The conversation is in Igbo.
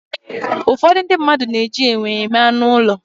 Ụfọdụ ndị mmadụ na-eji enwe eme anụ ụlọ.